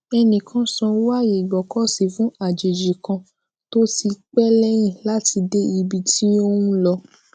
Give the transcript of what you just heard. ẹnì kan sanwó aye igbokosi fun àjèjì kan to ti pe leyin lati de ibi ti o n lo